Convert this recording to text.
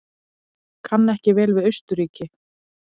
Kann ekki vel við Austurríki.